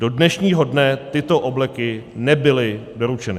Do dnešního dne tyto obleky nebyly doručeny.